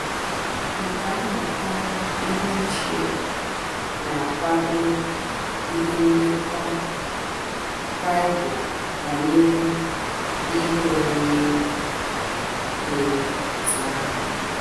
Nkà mmụta ihe ochie na - akwado ihe ndekọ Bible banyere ihe omume dị otú ahụ.